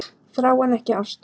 Þrá en ekki ást